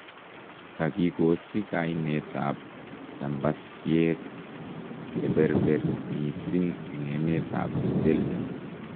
" Kakikochi kaineetab chambasyeek cheberber missing en emeetab Belgium".